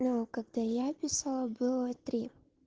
ну когда я писала было три